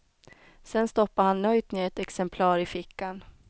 Sedan stoppade han nöjt ner ett exemplar i fickan.